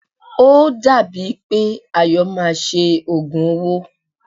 O dàbí è pé Ayọ̀ máa ṣe òògùn owó.